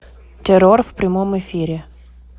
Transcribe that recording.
террор в прямом эфире